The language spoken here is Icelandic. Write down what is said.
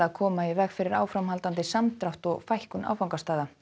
koma í veg fyrir áframhaldandi samdrátt og fækkun áfangastaða